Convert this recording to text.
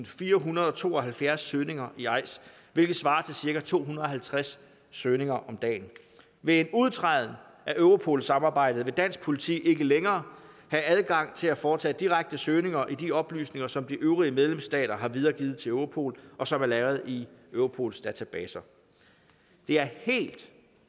firehundrede og tooghalvfjerds søgninger i eis hvilket svarer til cirka to hundrede og halvtreds søgninger om dagen ved en udtræden af europol samarbejdet vil dansk politi ikke længere have adgang til at foretage direkte søgninger i de oplysninger som de øvrige medlemsstater har videregivet til europol og som er lagret i europols databaser det er helt